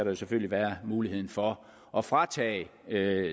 jo selvfølgelig være mulighed for at fratage